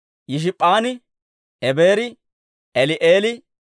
Yishp'p'aani, Ebeeri, Eli'eeli,